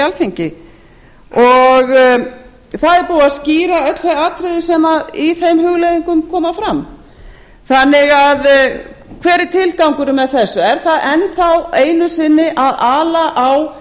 alþingi það er búið að skýra öll þau atriði sem í þeim hugleiðingum koma fram hver er tilgangurinn með þessu er enn einu sinni verið að ala á